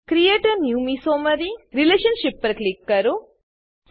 create a new mesomery relationship પર click કરો